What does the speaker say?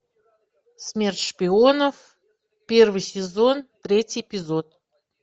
смерть шпионов первый сезон третий эпизод